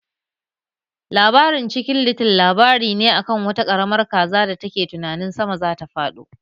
Labarin Cikin little labari ne a kan wata ƙaramar kaza da take tunanin sama zata fado